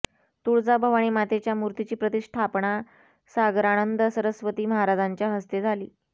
तुळजाभवानी मातेच्या मूर्तीची प्रतिष्ठापना सागरानंद सरस्वती महाराजांच्या हस्ते झाली